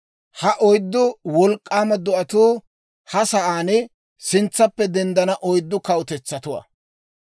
‹Ha oyddu wolk'k'aama do'atuu ha sa'aan sintsaappe denddana oyddu kawutetsatuwaa.